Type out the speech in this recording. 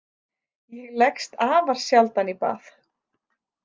Ég leggst afar sjaldan í bað.